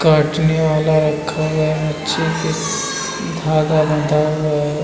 काटने वाला नीचे एक धागा बंधा हुआ है।